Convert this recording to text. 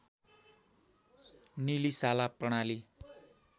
निलिशाला प्रणाली